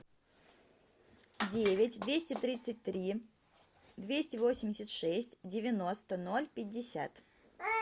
девять двести тридцать три двести восемьдесят шесть девяносто ноль пятьдесят